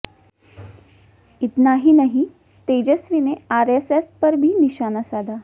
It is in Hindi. इतना ही नहीं तेजस्वी ने आरएसएस पर भी निशाना साधा